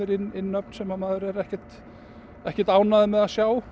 inn nöfn sem maður er ekkert ekkert ánægður með að sjá